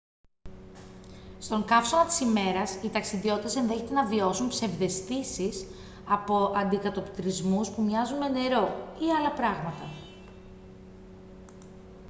στον καύσωνα της ημέρας οι ταξιδιώτες ενδέχεται να βιώσουν ψευδαισθήσεις από αντικατοπτρισμούς που μοιάζουν με νερό ή άλλα πράγματα